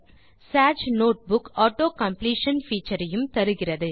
Sage notebook autocompletion feature ஐயும் தருகிறது